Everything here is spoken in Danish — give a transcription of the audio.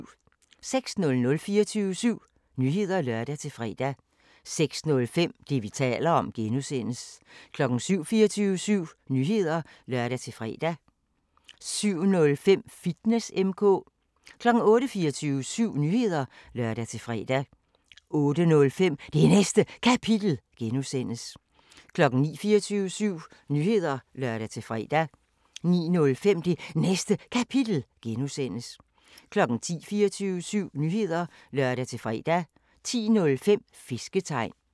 06:00: 24syv Nyheder (lør-fre) 06:05: Det, vi taler om (G) 07:00: 24syv Nyheder (lør-fre) 07:05: Fitness M/K 08:00: 24syv Nyheder (lør-fre) 08:05: Det Næste Kapitel (G) 09:00: 24syv Nyheder (lør-fre) 09:05: Det Næste Kapitel (G) 10:00: 24syv Nyheder (lør-fre) 10:05: Fisketegn